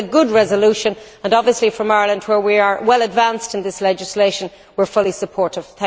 This is a good resolution and, obviously, in Ireland, where we are well advanced in this legislation, we are fully supportive.